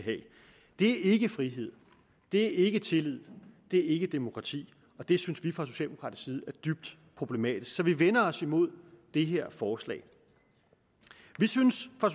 er ikke frihed det er ikke tillid det er ikke demokrati og det synes vi fra socialdemokratisk side er dybt problematisk så vi vender os imod det her forslag vi synes fra